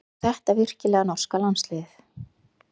Var þetta virkilega norska landsliðið?